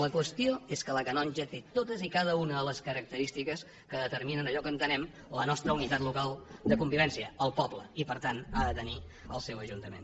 la qüestió és que la canonja té totes i cada una de les característiques que determinen allò que entenem la nostra unitat local de convivència el poble i per tant ha de tenir el seu ajuntament